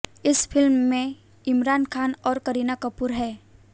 इस फिल्म में इमरान खान और करीना कपूर हैं